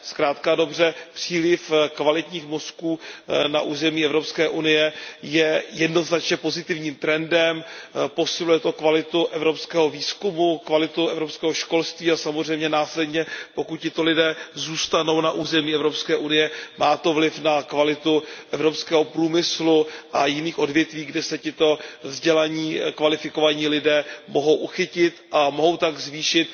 Zkrátka a dobře, příliv kvalitních mozků na území Evropské unie je jednoznačně pozitivním trendem, posiluje to kvalitu evropského výzkumu, kvalitu evropského školství a samozřejmě následně, pokud tito lidé zůstanou na území Evropské unie, má to vliv na kvalitu evropského průmyslu a jiných odvětví, kde se tito vzdělaní, kvalifikovaní lidé mohou uchytit a mohou tak zvýšit